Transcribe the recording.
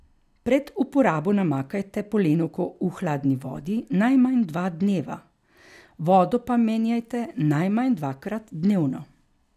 Pred uporabo namakajte polenovko v hladni vodi najmanj dva dneva, vodo pa menjajte najmanj dvakrat dnevno.